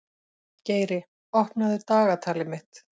Geiri, opnaðu dagatalið mitt.